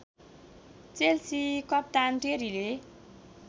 Chelsea कप्तान टेरीले